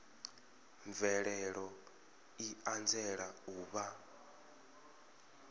mvelelo i anzela u vha